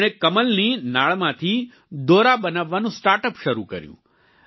તેમણે ક્મલની નાળમાંથી દોરા બનાવવાનું સ્ટાર્ટઅપ શરૂ કર્યું